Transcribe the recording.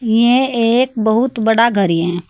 यह एक बहुत बड़ा घरी है।